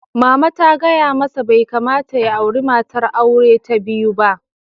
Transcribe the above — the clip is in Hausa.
Mama ta gaya masa "Bai kamata ya auri matar aure ta biyu ba!"